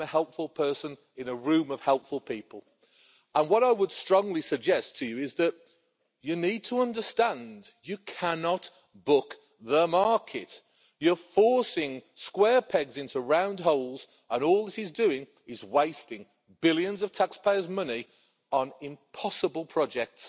I'm a helpful person in a room of helpful people and what I would strongly suggest to you is that you need to understand you cannot book the market. You're forcing square pegs into round holes and all this is doing is wasting billions of taxpayers' money on impossible projects